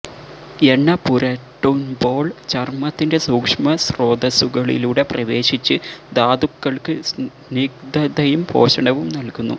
എണ്ണ പുരട്ടുന്പോൾ ചർമ്മത്തിന്റെ സൂക്ഷ്മ സ്രോതസ്സുകളിലൂടെ പ്രവേശിച്ച് ധാതുക്കൾക്ക് സ്നിഗ്ദ്ധതയും പോഷണവും നൽകുന്നു